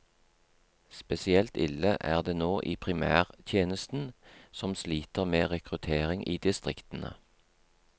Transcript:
Spesielt ille er det nå i primærtjenesten, som sliter med rekruttering i distriktene.